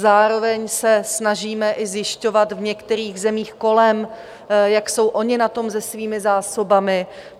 Zároveň se snažíme i zjišťovat v některých zemích kolem, jak jsou oni na tom se svými zásobami.